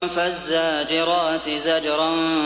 فَالزَّاجِرَاتِ زَجْرًا